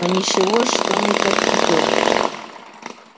а ничего что мы так идём